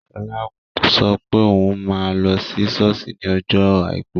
Shola sọ pé òun máa lọ sí sọ́ọ̀sì ní ọjọ́ àìkú